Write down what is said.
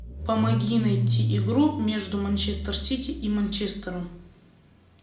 помоги найти игру между манчестер сити и манчестером